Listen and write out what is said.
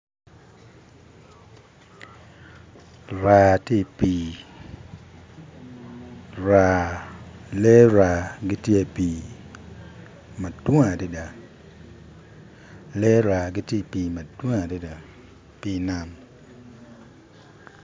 Raa tye ipii raa lee raa gitye i pii madwong adada lee raa gitye i pii madwong adada i pi man.